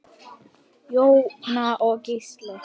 Jóna og Gísli.